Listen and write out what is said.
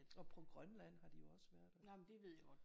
Og på Grønland har de jo også været